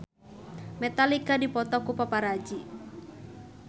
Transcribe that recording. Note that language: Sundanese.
Metallica dipoto ku paparazi